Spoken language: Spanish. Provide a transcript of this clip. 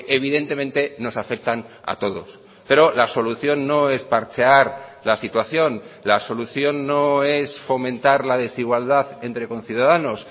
evidentemente nos afectan a todos pero la solución no es parchear la situación la solución no es fomentar la desigualdad entre conciudadanos